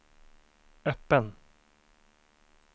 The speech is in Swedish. öppen